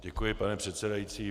Děkuji, pane předsedající.